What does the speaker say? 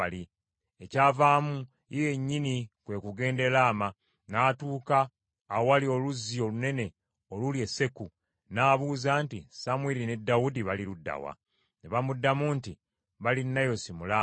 Ekyavaamu, ye yennyini kwe kugenda e Laama, n’atuuka awali oluzzi olunene oluli e Seku, n’abuuza nti, “Samwiri ne Dawudi bali ludda wa?” Ne bamuddamu nti, “Bali Nayosi mu Laama.”